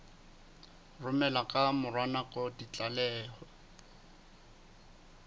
romela ka mora nako ditlaleho